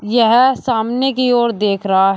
यह सामने की ओर देख रहा है।